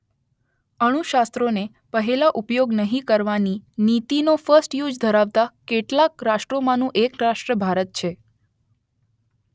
અણુ શસ્ત્રોને પહેલો ઉપયોગ નહીં કરવાની નીતિ નો ફર્સ્ટ યુઝ ધરાવતા કેટલાંક રાષ્ટ્રોમાંનું એક રાષ્ટ્ર ભારત છે